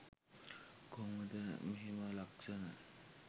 කොහොමද මෙහෙම ලක්‍ෂණ